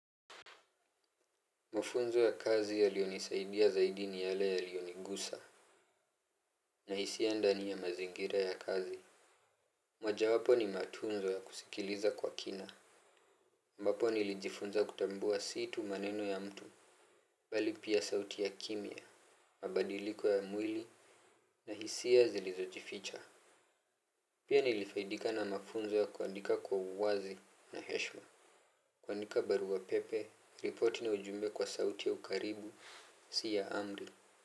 Mafunzo ya kazi yaliyonisaidia zaidi ni yale yaliyonigusa. Na hisia ndani ya mazingira ya kazi. Mojawapo ni matunzo ya kusikiliza kwa kina. Ambapo nilijifunza kutambua si tu maneno ya mtu. Bali pia sauti ya kimya, mabadiliko ya mwili na hisia zilizojificha. Pia nilifaidika na mafunzo ya kuandika kwa uwazi na heshima. Kuandika barua pepe, ripoti na ujumbe kwa sauti ya ukaribu, si ya amri.